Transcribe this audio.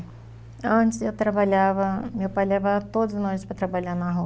Antes eu trabalhava, meu pai levava todos nós para trabalhar no